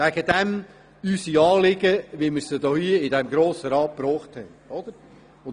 Deshalb haben wir unsere Anliegen, wie wir sie hier im Grossen Rat gebracht haben.